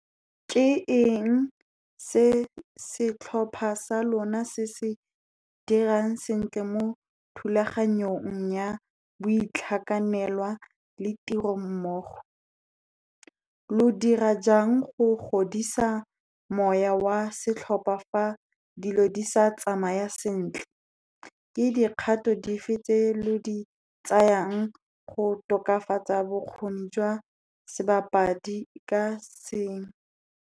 Ke eng se setlhopha sa lona se se dirang sentle mo thulaganyong ya boitlhakanelwa le tiro mmogo? Lo dira jang go godisa moya wa setlhopha fa dilo di sa tsamaya sentle? Ke dikgato dife tse lo di tsayang go tokafatsa bokgoni jwa sebapadi ka se?